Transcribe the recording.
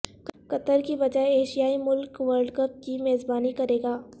قطر کے بجائے ایشیائی ملک ورلڈ کپ کی میزبانی کریگا